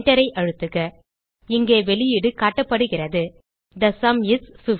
Enterஐ அழுத்துக இங்கே வெளியீடு காட்டப்படுகிறது தே சும் இஸ் 15